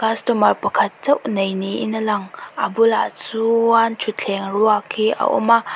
customer pakhat chauh neih ni in a lang a bulah chuuan thutthleng ruak hi a awm a.